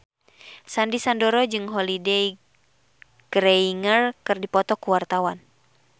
Sandy Sandoro jeung Holliday Grainger keur dipoto ku wartawan